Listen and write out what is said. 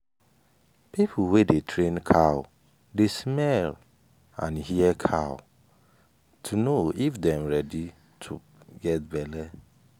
people wey dey train cow dey smell and hear cow sound to know if dem ready to get belle.